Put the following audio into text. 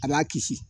A b'a kisi